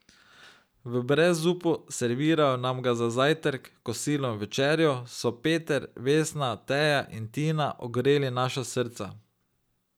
V brezupu, servirajo nam ga za zajtrk, kosilo in večerjo, so Peter, Vesna, Teja in Tina ogreli naša srca.